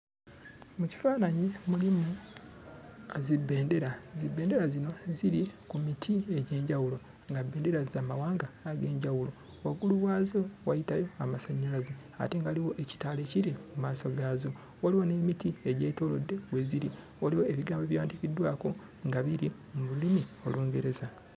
Mu kifaananyi mulimu zibbendera. Zibbendera zino ziri ku miti egy'enjawulo nga bbendera za mawanga ag'enjawulo. Waggulu waazo wayitayo amasannyalaze ate nga waliwo ekitaala ekiri mu maaso gaazo; waliwo n'emiti egyetoolodde we ziri, waliwo ebigambo ebyawandiikiddwako nga biri mu lulimi Olungereza.